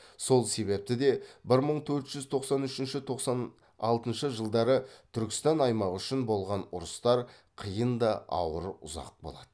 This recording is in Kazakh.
сол себепті де бір мың төрт жүз тоқсан үшінші тоқсан алтыншы жылдары түркістан аймағы үшін болған ұрыстар қиын да ауыр ұзақ болады